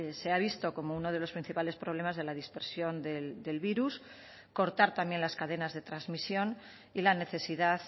se ha visto como uno de los principales problemas de la dispersión del virus cortar también las cadenas de transmisión y la necesidad